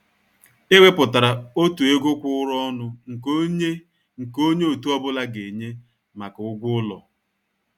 È wépụtárà ọ̀tụ̀ égò kwụ̀ụrụ̀ ọnụ nke ònye nke ònye òtù ọ́bụ̀la ga-ènyé maka ụ́gwọ́ ụlọ.